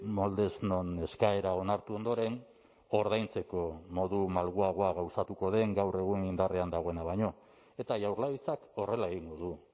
moldez non eskaera onartu ondoren ordaintzeko modu malguagoa gauzatuko den gaur egun indarrean dagoena baino eta jaurlaritzak horrela egingo du